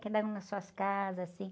Que andavam nas suas casas, assim.